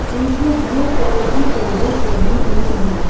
पीछे blue colour की tables लगी हुई हैं।